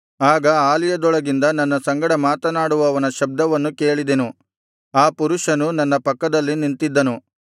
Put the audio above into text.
ಆಗ ಆಲಯದೊಳಗಿಂದ ನನ್ನ ಸಂಗಡ ಮಾತನಾಡುವವನ ಶಬ್ದವನ್ನು ಕೇಳಿದೆನು ಆ ಪುರುಷನು ನನ್ನ ಪಕ್ಕದಲ್ಲಿ ನಿಂತಿದ್ದನು